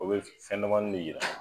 O be fɛndamani de yira